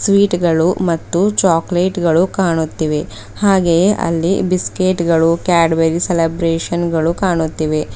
Sweet ಗಳು ಮತ್ತು chocolate ಗಳು ಕಾಣುತ್ತಿವೆ ಹಾಗೆ ಅಲ್ಲಿ ಬಿಸ್ಕೆಟ್ ಗಳು ಕ್ಯಾಟ್ ಬೆರಿ ಸೆಲೆಬ್ರೇಶನ್ಗಳು ಕಾಣುತ್ತಿವೆ.